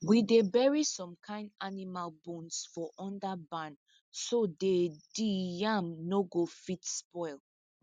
we dey bury some kin animal bones for under barn so day di yam no go fit spoil